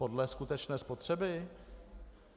Podle skutečné spotřeby?